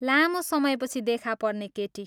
लामो समयपछि देखापर्ने केटी।